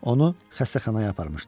Onu xəstəxanaya aparmışdı.